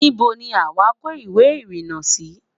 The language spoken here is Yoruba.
níbo ní àma kò ìwé irina Si?